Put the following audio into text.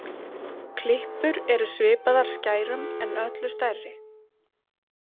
Klippur eru svipaðar skærum en öllu stærri.